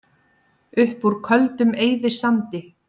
Upp úr Köldum eyðisandi